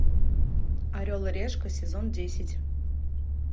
орел и решка сезон десять